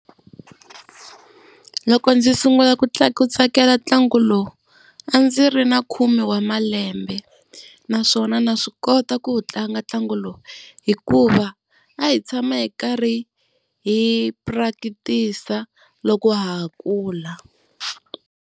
Loko ndzi sungula ku ku tsakela ntlangu lowu a ndzi ri na khume wa malembe, naswona ndza swi kota ku wu tlanga ntlangu lowu hikuva a hi tshama hi karhi hi practice loko ha ha kula.